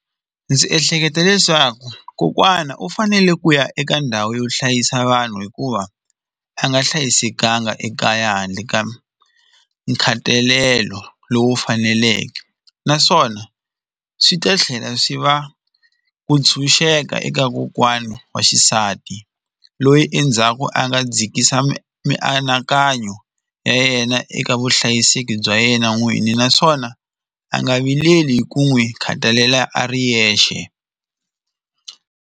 Ndzi ehleketa leswaku kokwana u fanele ku ya eka ndhawu yo hlayisa vanhu hikuva a nga hlayisekanga ekaya handle ka nkhatalelo lowu faneleke naswona swi ta tlhela swi va ku tshunxeka eka kokwana wa xisati loyi endzhaku a nga dzikisa mianakanyo ya yena eka vuhlayiseki bya yena n'winyi naswona a nga vileli hi ku n'wi khathalela a ri yexe.